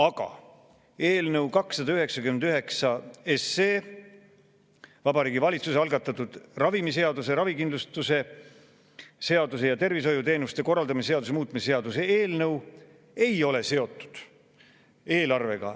Aga eelnõu 299, Vabariigi Valitsuse algatatud ravimiseaduse, ravikindlustuse seaduse ja tervishoiuteenuste korraldamise seaduse muutmise seaduse eelnõu ei ole seotud eelarvega.